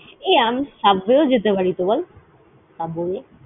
এ আমি Subway ও যেতে পারিত বল?